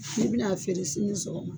Ni bɛ na'a feere sini sɔgɔma.